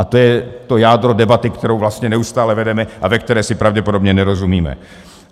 A to je to jádro debaty, kterou vlastně neustále vedeme a ve které si pravděpodobně nerozumíme.